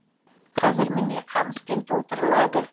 қазір міне қамыспен толтырылады